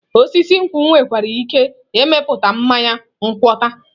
Osisi nkwụ nwekwara ike ịmịpụta mmanya ngwọta.